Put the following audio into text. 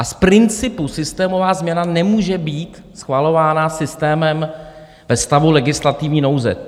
A z principu systémová změna nemůže být schvalována systémem ve stavu legislativní nouze.